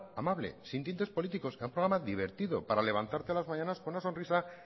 amable sin tintes políticos era un programa divertido para levantarte a las mañanas con una sonrisa